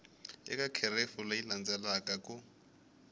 eka kherefu leyi landzelaka ku